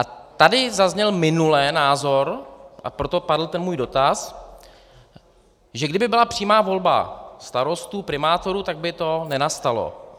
A tady zazněl minule názor, a proto padl ten můj dotaz, že kdyby byla přímá volba starostů, primátorů, tak by to nenastalo.